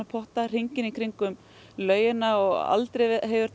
potta hringinn í kringum laugina og aldrei